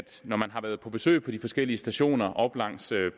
når man har været på besøg på de forskellige stationer op langs